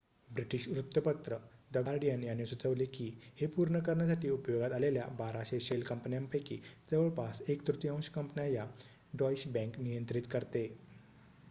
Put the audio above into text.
British वृत्तपत्र the Guardian यांनी सुचवले की हे पूर्ण करण्यासाठी उपयोगात आलेल्या 1200 शेल कंपन्यापैकी जवळपास एक तृतीयांश कंपन्या या डॉईश बँक नियंत्रित करते